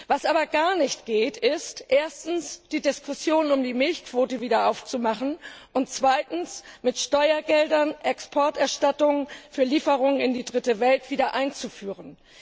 Was aber gar nicht geht, ist erstens, die Diskussion um die Milchquote wieder aufzumachen, und zweitens, mit Steuergeldern finanzierte Exporterstattungen für Lieferungen in die Dritte Welt wieder einzuführen.